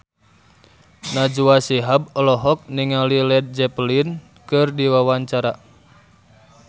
Najwa Shihab olohok ningali Led Zeppelin keur diwawancara